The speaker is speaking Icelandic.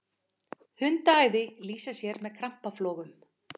hundaæði lýsir sér með krampaflogum